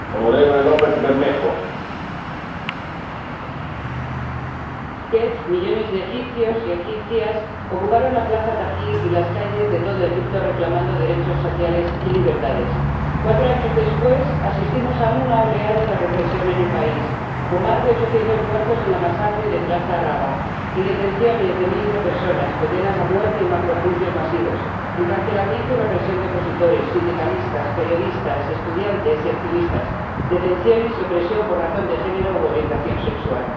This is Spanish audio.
Señor Presidente, en 2010 millones de egipcios y egipcias ocuparon la plaza Tahrir y las calles de todo Egipto reclamando derechos sociales y libertades. Cuatro años después asistimos a una oleada de represión en el país, con más de ochocientos muertos en la masacre de la plaza Raba y detenciones de miles de personas, condenas a muerte en macrojuicios masivos, encarcelamiento y represión de opositores, sindicalistas, periodistas, estudiantes y activistas, detenciones y opresión por razón de género u orientación sexual.